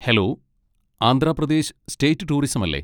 Hello, Andhra Pradesh state tourism അല്ലേ?